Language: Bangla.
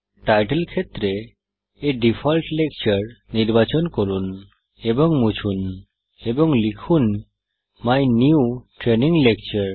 টাইটল ফীল্ডে A ডিফল্ট লেকচার নির্বাচন করুন এবং মুছুন এবং লিখুন মাই নিউ ট্রেইনিং লেকচার